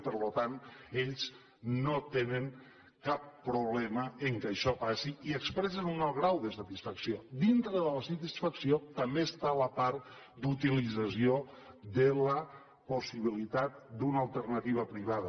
i per tant ells no tenen cap problema amb el fet que això passi i expressen un alt grau de satisfacció dintre de la satisfacció també hi ha la part d’utilització de la possibilitat d’una alternativa privada